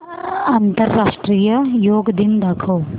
आंतरराष्ट्रीय योग दिन दाखव